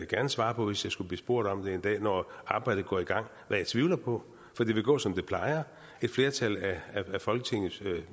gerne svare på hvis jeg skulle blive spurgt om det en dag når arbejdet går i gang hvad jeg tvivler på for det vil gå som det plejer et flertal af folketingets